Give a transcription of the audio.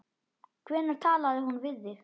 Hvenær talaði hún við þig?